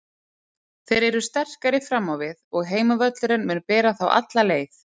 Þeir eru sterkari fram á við og heimavöllurinn mun bera þá alla leið.